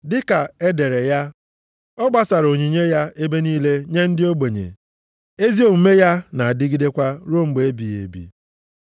Dịka e dere ya, “Ọ gbasara onyinye ya ebe niile nye ndị ogbenye; ezi omume ya na-adịgidekwa ruo mgbe ebighị ebi.” + 9:9 \+xt Abụ 112:9\+xt*